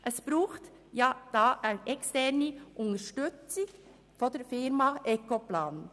Es braucht eine externe Unterstützung von Ecoplan.